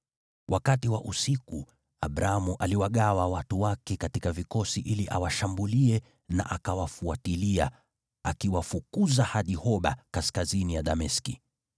Wakati wa usiku Abramu aliwagawa watu wake katika vikosi ili awashambulie, na akawafuatilia, akawafukuza hadi Hoba, kaskazini ya Dameski.